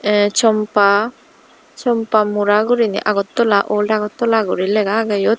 eh chompa chompa mora guriney agottola ol agottala guri lega agey iyot.